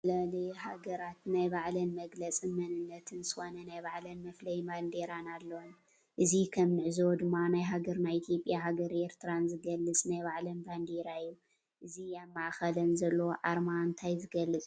ዝተፈላለዩ ሃገራት ናይ ባዕለን መግለፅ መንነትን ዝኮነ ናይ ባዕለን መፍለይ ባንዴራ አለዎን እዚ ከም እንዕዞቦ ድማ ናይ ሃገረ ኢትዮጲያን ሃገረ ኤረትራን ዝገልፅ ናይ ባዕለን ባንዴራ እዩ። እዚ አብ ማእከለን ዘሎ አርማ እንታይ ዝገልፅ ይመስለኩም?